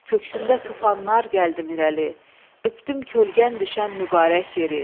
Köksümdə tufanlar gəldim irəli, öpdüm kölgən düşən mübarək yeri.